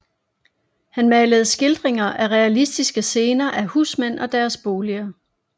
Han malede skildringer af realistiske scener af husmænd og deres boliger